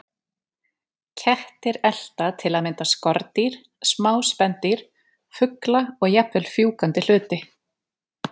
Kettir elta til að mynda skordýr, smá spendýr, fugla og jafnvel fjúkandi hluti.